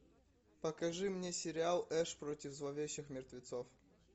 покажи мне сериал эш против зловещих мертвецов